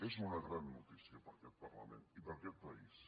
és una gran notícia per a aquest parlament i per a aquest país